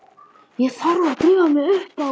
Ég þarf að drífa mig upp á